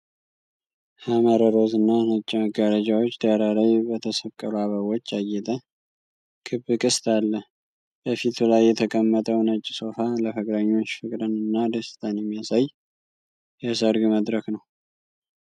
ሐመር ሮዝ እና ነጭ መጋረጃዎች ዳራ ላይ በተሰቀሉ አበቦች ያጌጠ ክብ ቅስት አለ። በፊቱ ላይ የተቀመጠው ነጭ ሶፋ ለፍቅረኞች ፍቅርን እና ደስታን የሚያሳይ የሰርግ መድረክ ነው።